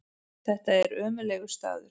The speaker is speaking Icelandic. Þetta er ömurlegur staður.